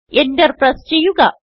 Enter press ചെയ്യുക